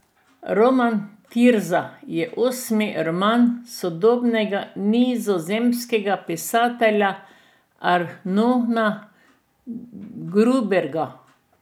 Roman Tirza je osmi roman sodobnega nizozemskega pisatelja Arnona Grunberga.